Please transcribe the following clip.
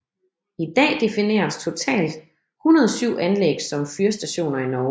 I dag defineres totalt 107 anlæg som fyrstationer i Norge